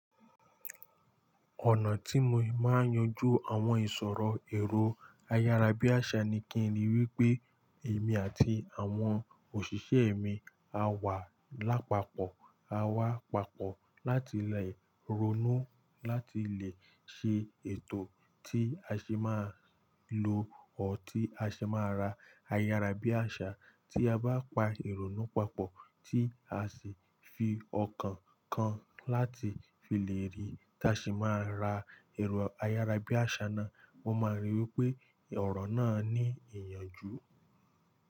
Ọ̀nà tí mo máa ń yanjú àwọn ìṣòro èrò ayárabíàṣá ni kí n ríi wí pé èmi àti àwọn òṣìṣẹ́ mi a wà lápapọ̀, a wà papọ̀ láti le ronú, láti lè ṣe ètò tí a ṣe máa lo or tí a ṣe máa ra ayárabíàṣá. Tí a bá pa ìrònú papọ̀ tí a sì fi ọkàn kan láti fi lè rí tí a se máa ra èrò ayárabíàṣá náà, won máa ríi wí pé ọ̀rọ̀ náà ní ìyànjú.